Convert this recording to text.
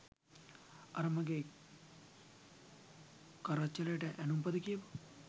අර මගේ කරච්චලේට ඇනුම්පද කියපු